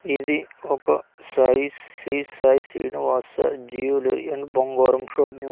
ఇది ఒక Sai Sri Sai Srinivasa jewellery and బంగారం షాపు .